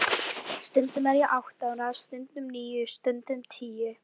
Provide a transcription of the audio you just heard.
Stundum er ég átta ára, stundum níu, stundum tíu.